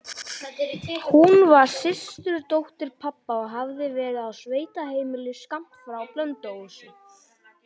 Hún var systurdóttir pabba og hafði verið á sveitaheimili skammt frá Blönduósi.